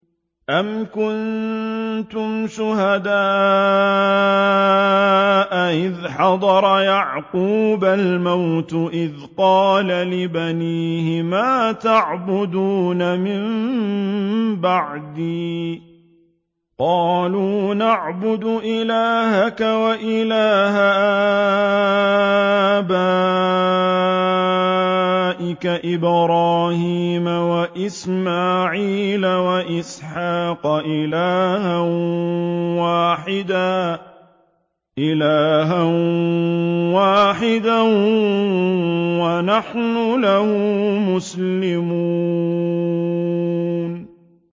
أَمْ كُنتُمْ شُهَدَاءَ إِذْ حَضَرَ يَعْقُوبَ الْمَوْتُ إِذْ قَالَ لِبَنِيهِ مَا تَعْبُدُونَ مِن بَعْدِي قَالُوا نَعْبُدُ إِلَٰهَكَ وَإِلَٰهَ آبَائِكَ إِبْرَاهِيمَ وَإِسْمَاعِيلَ وَإِسْحَاقَ إِلَٰهًا وَاحِدًا وَنَحْنُ لَهُ مُسْلِمُونَ